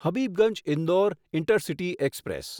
Habibganj Indore intercity express